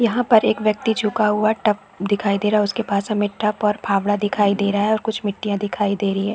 एक पर एक व्यक्ति झुका हुआ टप दिखाई दे रहा हैं उसके पास हमें टप और फावड़ा दिखाई दे रहा और कुछ मिट्टियाँ दिखाई दे रही है।